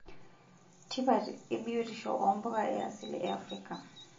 Tipat e biotisho oompuka e asili e Afrika.